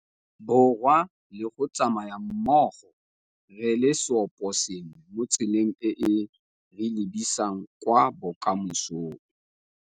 Borwa le go tsamaya mmogo re le seoposengwe mo tseleng e e re lebisang kwa bokamosong.